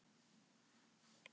Léttur á sér og upprifinn.